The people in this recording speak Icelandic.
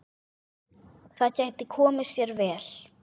Það gæti komið sér vel.